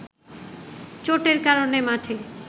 চোটের কারণে মাঠে